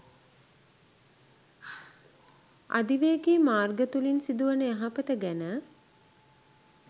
අධිවේගී මාර්ග තුළින් සිදුවන යහපත ගැන